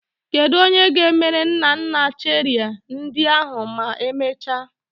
Kedu onye ga-emere nna nna cherie ndị ahụ ma emechaa?